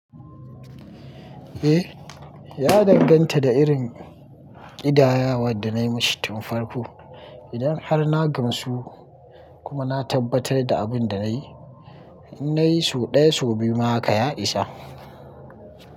Eh, ya danganta da irin ƙidayawar da na yi musu tun farko. Idan har na gamsu kuma na tabbatar da abin da na yi, in na yi sau ɗaya, sau biyu ma haka ya isa.